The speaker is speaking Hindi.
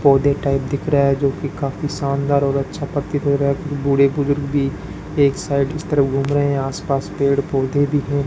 पौधे टाइप दिख रहा है जोकि काफी शानदार और अच्छा प्रतीत हो रहा है बूढ़े बुजुर्ग भी एक साइड इस तरफ घूम रहे हैं आस पास पेड़ पौधे भी है।